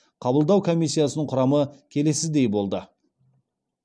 қабылдау комиссиясының құрамы келесідей болды